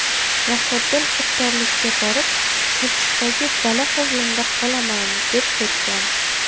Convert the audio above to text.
Muhriddin iftorlikka borib, ‘Chirchiqdagi dala hovlimda qolaman’ deb ketgan.